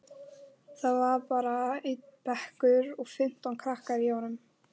Það var bara einn bekkur og fimmtán krakkar í honum.